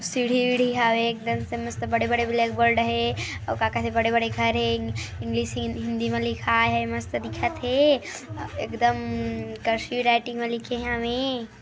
सीढ़ी वीढ़ी हावे एकदम से मस्त बड़े-बड़े ब्लैक बोर्ड हे अऊ का का हे बड़े-बड़े घर हे इंग्लिश हि हिंदी म लिखाय हे मस्त दिखत हे अ एकदम कर्सिव राइटिंग म लिखे हवें।